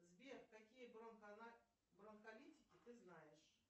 сбер какие бронхолитики ты знаешь